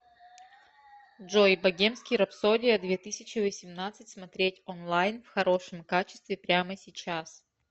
джой богемский рапсодия две тысячи восемнадцать смотреть онлайн в хорошем качестве прямо сейчас